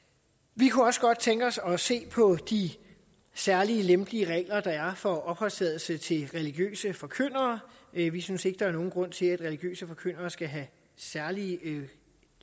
vi kunne også godt tænke os at se på de særlig lempelige regler der er for opholdstilladelse til religiøse forkyndere vi vi synes ikke der er nogen grund til at religiøse forkyndere skal have særlig